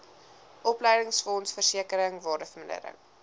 opleidingsfonds versekering waardevermindering